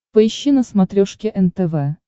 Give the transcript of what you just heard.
поищи на смотрешке нтв